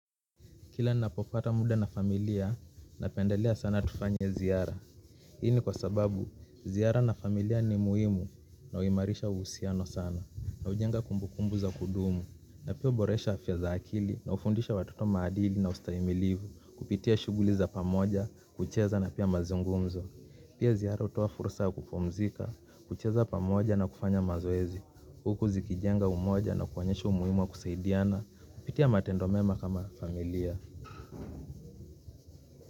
Kila ninapopata muda na familia, napendelea sana tufanye ziara. Hii ni kwa sababu, ziara na familia ni muhimu, na uimarisha uhusiano sana, na hujenga kumbukumbu za kudumu. Na pia huboresha afya za akili na hufundisha wataoto maadili na ustahimilivu kupitia shughuli za pamoja kucheza na pia mazungumzo. Pia ziara hutoa fursa ya kupumzika, kucheza pamoja na kufanya mazoezi huku zikijenga umoja na kuonyesha umuhimu ya kusiadiana kupitia matendo mema kama familia.